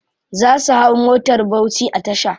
Za su hau motar bauchi a tasha.